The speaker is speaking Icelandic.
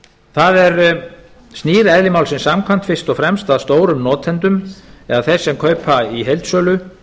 það snýr eðli málsins samkvæmt fyrst og fremst að stórum notendum eða þeim sem kaupa í heildsölu